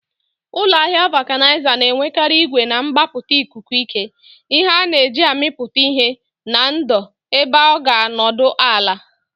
Ụlọ ahịa Vulcanizer na-enwekarị igwe na-agbapụta ikuku ike, ihe a na-eji amịpụta ihe na ndò ebe ọ ga-anọdụ ala.